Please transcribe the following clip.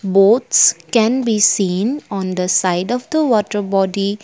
boats can we seen on the side of the water body.